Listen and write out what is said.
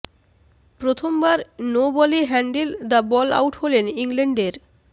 প্রথমাবর no বলে handle the ball out হলেন ইংল্যান্ডের